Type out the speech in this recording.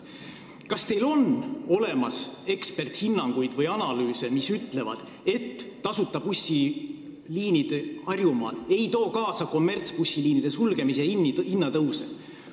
Kas teil on olemas eksperdihinnanguid või analüüse, mis ütlevad, et tasuta bussiliinid Harjumaal ei too kaasa kommertsbussiliinide sulgemist ja hinnatõuse?